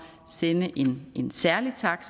sende en særlig tak